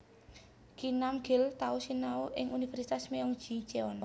Kim Nam Gil tau sinau ing Universitas Myeong Ji Cheon